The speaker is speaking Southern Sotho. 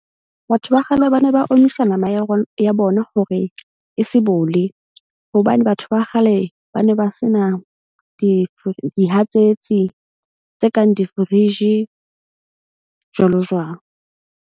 Batho ba kgale ba ne ba omisa nama ya ya bona hore e se bole. Hobane batho ba kgale ba ne ba sena dihatsetsi tse kang di-fridge jwalo jwalo.